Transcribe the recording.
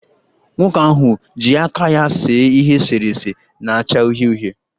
Nwoke ahụ ji aka ya see ihe eserese na-acha uhie uhie